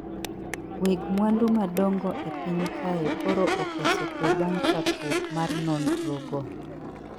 Weg mwandu madongo e piny kae koro okoso kwe bang chakruok mar nondro go